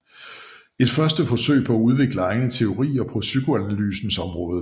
Et første forsøg på at udvikle egne teorier på psykoanalysens område